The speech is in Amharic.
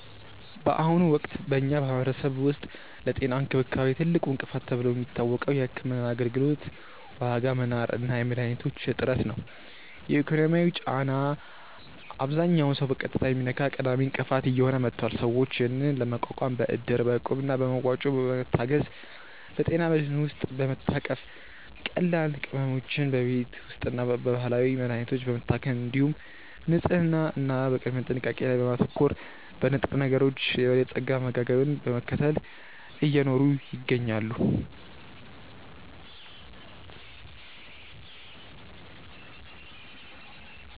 በአሁኑ ወቅት በኛ ማህበረሰብ ውስጥ ለጤና እንክብካቤ ትልቁ እንቅፋት ተብሎ የሚታወቀው የሕክምና አገልግሎት ዋጋ መናር እና የመድኃኒቶች እጥረት ነው። የኢኮኖሚው ጫና አብዛኛውን ሰው በቀጥታ የሚነካ ቀዳሚ እንቅፋት እየሆነ መጥቷል። ሰዎች ይህንን ለመቋቋም በእድር፣ እቁብ እና በመዋጮ በመታገዝ፣ በጤና መድህን ውስጥ በመታቀፍ፣ ቀላል ሕመሞችን በቤት ውስጥና በባህላዊ መድሀኒቶች በመታከም፣ እንዲሁም በንጽህና እና በቅድመ ጥንቃቄ ላይ በማተኮር፣ በንጥረነገሮች የበለፀገ አመጋገብን በመከተል እየኖሩ ይገኛሉ።